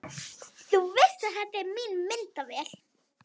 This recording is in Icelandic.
Þú veist að þetta er mín myndavél!